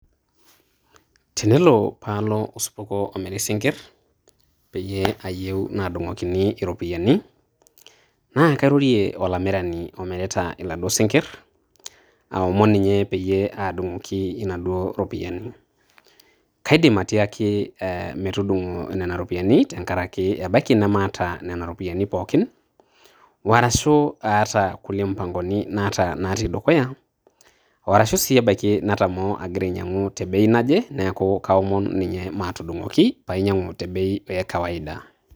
Tenelo paa alo osupuko omiri isinkirr, peyie ayieu naadung`okini irropiyiani. Naa kairorie olamirani omirita laaduo sinkirr aomon ninye pee aadung`oki inaduo ropiyiani. Kaidm atiaki metudung`o nena ropiyiani tenkaraki ebaiki nemaata nena ropiyiani pookin. O arashu aata nkulie mpangoni natii dukuya. O arshu sii ebaiki natamoo agira aijiang`u te bei naje, niaku kaomon ninye maatudung`oki pee ainyiang`u te bei e kawaida.